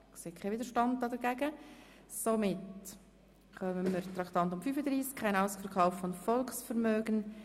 Ich sehe, dass es keinen Widerstand gegen dieses Vorgehen gibt.